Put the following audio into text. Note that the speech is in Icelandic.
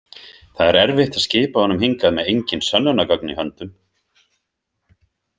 Það er erfitt að skipa honum hingað með engin sönnunargögn í höndum.